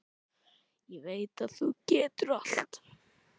Ég veit að þú getur allt.